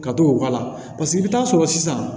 Ka t'o k'a la paseke i bi taa sɔrɔ sisan